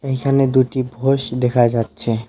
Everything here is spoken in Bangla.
এইখানে দুটি ভৈষ দেখা যাচ্ছে।